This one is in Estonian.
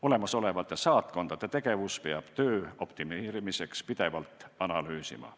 Olemasolevate saatkondade tegevust peab töö optimeerimiseks pidevalt analüüsima.